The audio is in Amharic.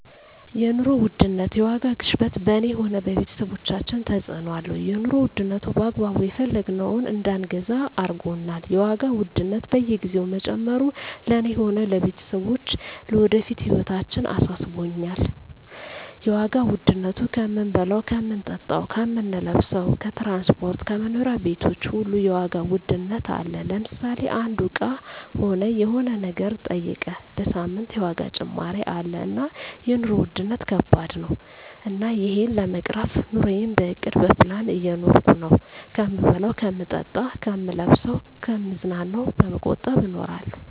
የኑሮ ውድነት የዋጋ ግሽበት በኔ ሆነ በቤተሰቦቻችን ተጽእኖ አለው የኑሮ ዉድነቱ በአግባቡ የፈለግነውን እዳንገዛ አርጎናል የዋጋ ውድነት በየግዜው መጨመሩ ለእኔ ሆነ ለቤተሰቦቸ ለወደፊት ህይወታችን አሳስቦኛል የዋጋ ዉድነቱ ከምንበላው ከምንጠጣው ከምንለብሰው ከትራንስፖርት ከመኖሪያ ቤቶች ሁሉ የዋጋ ውድነት አለ ለምሳሌ አንዱ እቃ ሆነ የሆነ ነገር ጠይቀ በሳምንት የዋጋ ጭማሪ አለ እና የኖሩ ዉድነት ከባድ ነው እና እሄን ለመቅረፍ ኑረየን በእቅድ በፕላን እየኖርኩ ነው ከምበላው ከምጠጣ ከምለብሰው ከምዝናናው በመቆጠብ እኖራለሁ